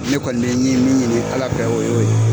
Ne kɔni be min ɲini ala fɛ, o y'o ye.